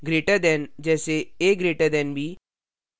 greater than से अधिक : जैसेa> b